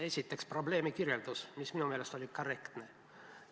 Esiteks, probleemi kirjeldus, mis minu meelest oli korrektne.